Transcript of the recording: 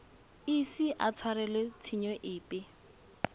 ise a tshwarelwe tshenyo epe